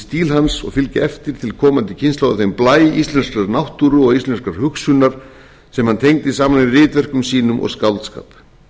stíl hans og fylgja eftir til komandi kynslóða þeim blæ íslenskrar náttúru og íslenskrar hugsunar sem hann tengdi saman í ritverkum sínum og skáldskap